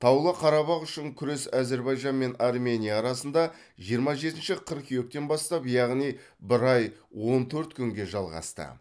таулы қарабақ үшін күрес әзербайжан мен армения арасында жиырма жетінші қыркүйектен бастап яғни бір ай он төрт күнге жалғасты